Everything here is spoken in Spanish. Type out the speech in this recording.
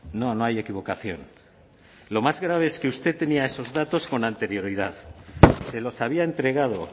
no no hay equivocación lo más grave es que usted tenía esos datos con anterioridad se los había entregado